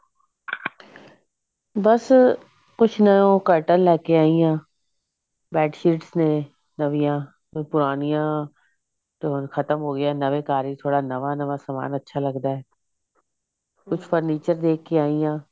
ਬਸ ਕੁੱਛ ਨੀ ਉਹ curtain ਲੈਕੇ ਆਈ ਹਾਂ bedsheet ਨੇ ਨਵੀਆਂ ਤੇ ਪੁਰਾਣਿਆ ਤਾਂ ਹੁਣ ਖਤਮ ਹੋ ਗਿਆ ਨਵੇਂ ਨਵੇਂ ਘਰ ਵਿੱਚ ਥੋੜਾ ਨਵਾਂ ਸਮਾਨ ਅੱਛਾ ਲਗਦਾ ਕੁਛ furniture ਦੇਖ ਕੇ ਆਈ ਹਾਂ